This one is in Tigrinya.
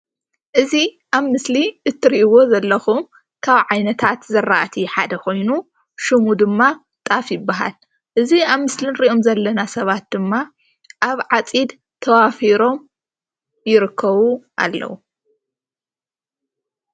እዚ ኣብ ምስሊ እትሪእዎ ዘለኩም ካብ ዓይነታት ዝረኣቲ ሓደ ኮይኑ ሽሙ ድማ ጣፍ ይበሃል። እዚ ኣብ ምስሊ ንሪኦም ዘለና ሰባት ድማ ኣብ ዓፂድ ተዋፊሮም ይርከቡ ኣለዉ።